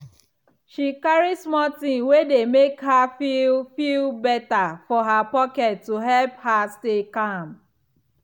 she carry small thing wey dey make her feel feel better for her pocket to help her stay calm.